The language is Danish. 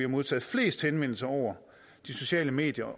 modtaget flest henvendelser over de sociale medier